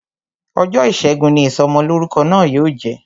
Ọjọ́ ìṣẹ́gun ni Ìsọmọlọ́rúkọ náà yóò jẹ